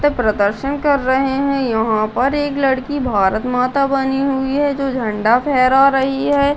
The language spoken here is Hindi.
मतलब प्रदर्शन कर रहे है यहाँ पर एक लड़की भारत माता बनी हुई है जो झंडा फहरा रही हैं।